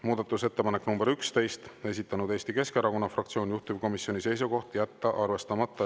Muudatusettepanek nr 11, esitanud Eesti Keskerakonna fraktsioon, juhtivkomisjoni seisukoht on jätta arvestamata.